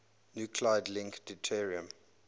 nuclide link deuterium